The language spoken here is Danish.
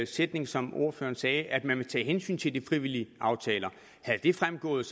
sætning som ordføreren sagde at man ville tage hensyn til de frivillige aftaler havde det fremgået